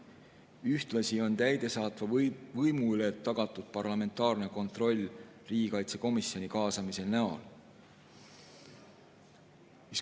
Ühtlasi on täidesaatva võimu üle tagatud parlamentaarne kontroll riigikaitsekomisjoni kaasamise näol.